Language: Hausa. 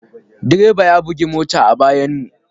Direban ya bugi mota a bayanmu.